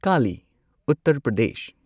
Kali Uttar Pradesh